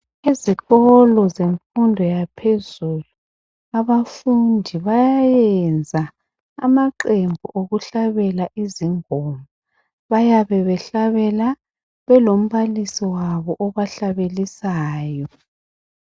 Ezikolo zemfundo yaphezulu abafundi bayenza amaqembu okuhlabela izingoma bayabe behlabela belombalisi wabo obahlabelisayo.